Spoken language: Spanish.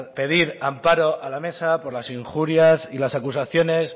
pedir amparo a la mesa por las injurias y las acusaciones